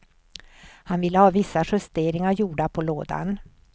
Han ville ha vissa justeringar gjorda på lådan.